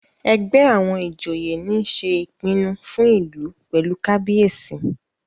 ègbé àwọn ìjòyè ní ṣe ìpinnu fún ìlú pẹlú kábíyèsí.